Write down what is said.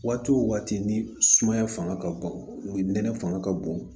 Waati o waati ni sumaya fanga ka bon ni nɛnɛ fanga ka bon